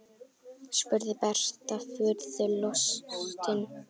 spurði Berta furðu lostin.